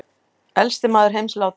Elsti maður heims látinn